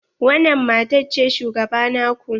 Wanan matan ce shugaba na ku?